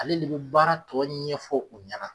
Ale le be baara tɔ ɲɛfɔ u ɲana.